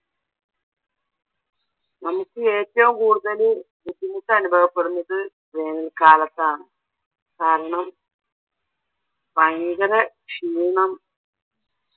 നമുക്ക് ഏറ്റവും കൂടുതല് ബുദ്ദിമുട്ട് അനുഭവപ്പെടുന്നത് വേനൽ കാലത്താണ് കാരണം ഭയങ്കര ക്ഷീണം